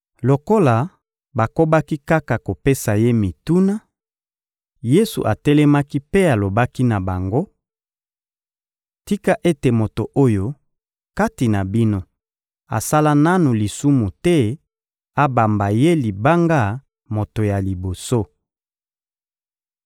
Lokola bakobaki kaka kopesa Ye mituna, Yesu atelemaki mpe alobaki na bango: — Tika ete moto oyo, kati na bino, asala nanu lisumu te abamba ye libanga moto ya liboso.